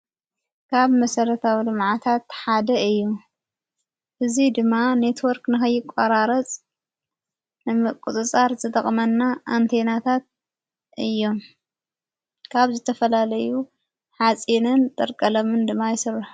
ካብ መሠረታዊ ልማዓታት ሓደ እዩ ብዙይ ድማ ኔትወርክ ንኸይቋራረጽ ን ቊጽጻር ዘጠቕመና ኣንቴናታት እዮ ካብ ዘተፈላለዩ ኃጺንን ጥርቀለምን ድማ ይሥርሕ።